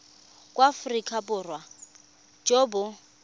jwa aforika borwa jo bo